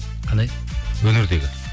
қандай өнердегі